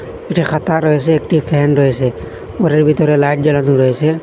একটি খাতা রয়েছে একটি ফ্যান রয়েছে ঘরের ভিতরে লাইট জ্বালানো রয়েছে।